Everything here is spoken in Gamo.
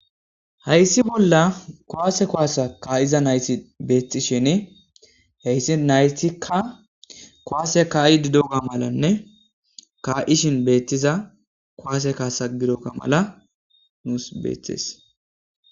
hayssi bolla kowaase koaasa kaa7iza nayssi beetti shin heyssi naytikka kowaase kaa7i didoga malanne kaa7ishin beettiza kowaase kaasa gidokka mala nuus beeththees